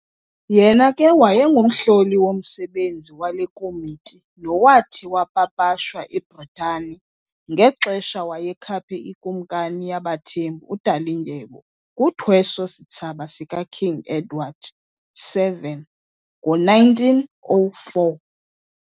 Yena ke wayengumhloli womsebenzi wale komiti nowathi wapapashwa eBritane ngexesha wayekhaphe iKumkani yaBaThembu uDalindyebo kuthweso-sitsaba sika King Edward VII ngo-1904.